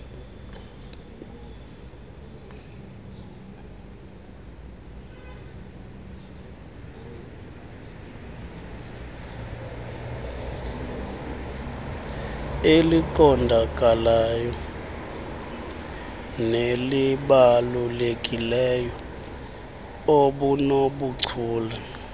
eliqondakalayo nelibalulekileyo obunobuchule